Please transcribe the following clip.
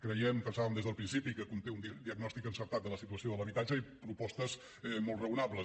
creiem ho pensàvem des del principi que conté un diagnòstic encertat de la situació de l’habitatge i propostes molt raonables